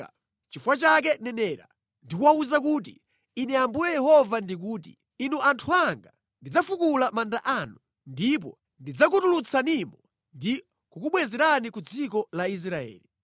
Nʼchifukwa chake nenera ndi kuwawuza kuti, ‘Ine Ambuye Yehova ndikuti: Inu anthu anga, ndidzafukula manda anu, ndipo ndidzakutulutsanimo ndi kukubwezerani ku dziko la Israeli.